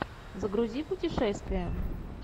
загрузи путешествия